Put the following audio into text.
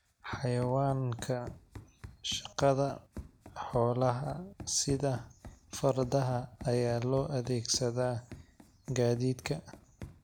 Xayawaanka Shaqada Xoolaha sida fardaha ayaa loo adeegsadaa gaadiidka.